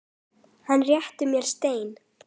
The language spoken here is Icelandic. Hann réttir mér stein.